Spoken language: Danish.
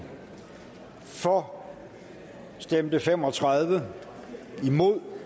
for stemte fem og tredive imod